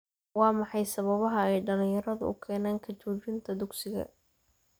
Waa maxay sababaha ay dhalinyaradu u keenaan ka joojinta dugsiga?